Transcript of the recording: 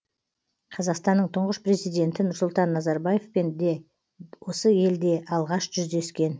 қазақстанның тұңғыш президенті нұрсұлтан назарбаевпен де осы елде алғаш жүздескен